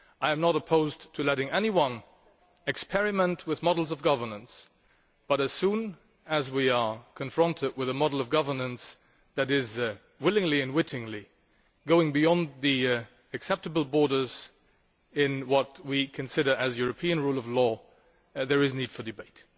I am not opposed to letting anyone experiment with models of governance, but as soon as we are confronted with a model of governance that is willingly and wittingly going beyond the acceptable borders of what we consider to be European rule of law, there is need for debate.